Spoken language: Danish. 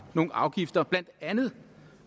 nogle afgifter blandt andet